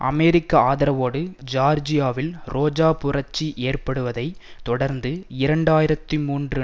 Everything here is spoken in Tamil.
அமெரிக்க ஆதரவோடு ஜியார்ஜியாவில் ரோஜா புரட்சி ஏற்படுவதை தொடர்ந்து இரண்டு ஆயிரத்தி மூன்று